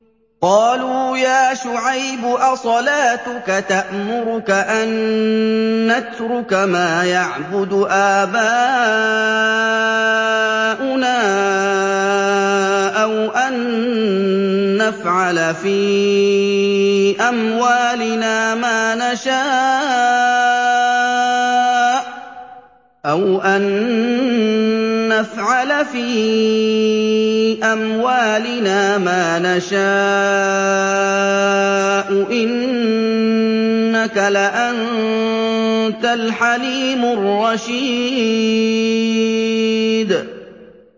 قَالُوا يَا شُعَيْبُ أَصَلَاتُكَ تَأْمُرُكَ أَن نَّتْرُكَ مَا يَعْبُدُ آبَاؤُنَا أَوْ أَن نَّفْعَلَ فِي أَمْوَالِنَا مَا نَشَاءُ ۖ إِنَّكَ لَأَنتَ الْحَلِيمُ الرَّشِيدُ